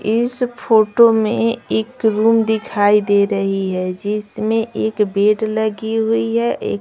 इस फोटो में एक रूम दिखाई दे रही है जिसमें एक बेड लगी हुई है।